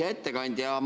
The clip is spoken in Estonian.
Hea ettekandja!